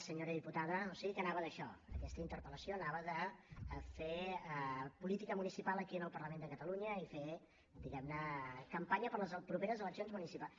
senyora diputada o sigui que anava d’això aquesta interpel·lació anava de fer política municipal aquí en el parlament de catalunya i fer diguem ne campanya per a les properes eleccions municipals